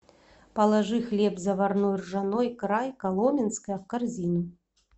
положи хлеб заварной ржаной край коломенское в корзину